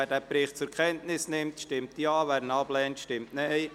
Wer den Bericht zur Kenntnis nimmt, stimmt Ja, wer dies ablehnt, stimmt Nein.